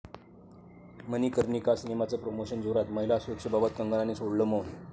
मणिकर्णिका सिनेमाचं प्रोमोशन जोरात, महिला सुरक्षेबाबत कंगनाने सोडलं मौन